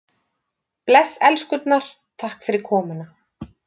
Bless elskurnar, takk fyrir komuna.